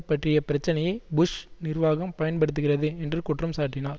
பற்றிய பிரச்சனையை புஷ் நிர்வாகம் பயன்படுத்துகிறது என்று குற்றம் சாட்டினார்